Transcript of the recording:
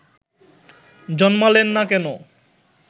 জন্মালেন না কেন